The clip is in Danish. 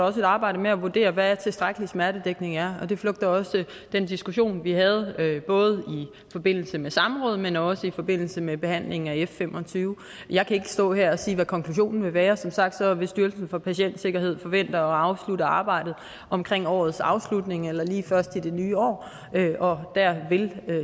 et arbejde med at vurdere hvad tilstrækkelig smertedækning er og det flugter også den diskussion vi havde både i forbindelse med samrådet men også i forbindelse med behandlingen af f femogtyvende jeg kan ikke stå her og sige hvad konklusionen vil være som sagt vil styrelsen for patientsikkerhed forvente at afslutte arbejdet omkring årets afslutning eller lige først i det nye år og der vil